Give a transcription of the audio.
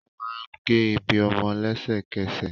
Wọn máa n ge ibi ọmọ lẹ́sẹ̀kẹsẹ̀.